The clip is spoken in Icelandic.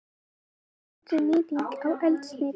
Miklu betri nýting á eldsneyti.